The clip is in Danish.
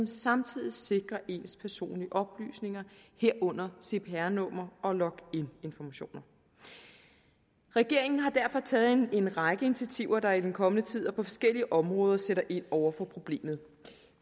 samtidig sikrer ens personlige oplysninger herunder cpr nummer og login informationer regeringen har derfor taget en række initiativer der i den kommende tid og på forskellige områder sætter ind over for problemet